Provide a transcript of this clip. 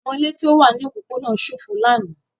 Àwọn ilé tó wà ní òpópónà ṣófo lánàá.